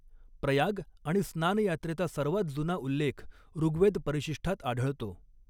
प्रयाग आणि स्नान यात्रेचा सर्वात जुना उल्लेख ऋग्वेद परिशिष्ठात आढळतो.